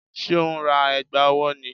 Ṣé o ń ra ẹ̀gbà ọwọ́ ni?